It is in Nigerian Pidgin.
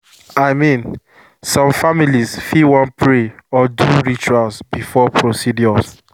i mean some families fit wan pray or do rituals before procedures